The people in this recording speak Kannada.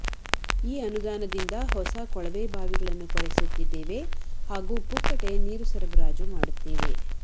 ಈ ಅನುದಾನದಿಂದ ಹೊಸ ಕೊಳವೆಬಾವಿಗಳನ್ನು ಕೊರೆಸುತ್ತಿದ್ದೇವೆ ಹಾಗೂ ಪುಕ್ಕಟೆ ನೀರು ಸರಬರಾಜು ಮಾಡುತ್ತೇವೆ